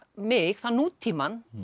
mig þá nútímann